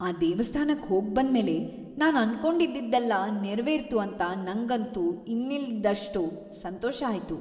ಆ ದೇವಸ್ಥಾನಕ್ ಹೋಗ್ಬಂದ್ಮೇಲೆ ನಾನ್ ಅನ್ಕೊಂಡಿದ್ದಿದ್ದೆಲ್ಲ ನೆರವೇರ್ತು ಅಂತ ನಂಗಂತೂ ಇನ್ನಿಲ್ದಷ್ಟ್ ಸಂತೋಷ ಆಯ್ತು.